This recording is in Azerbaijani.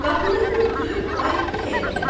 Qapını örtüb qayıtdı həyətə.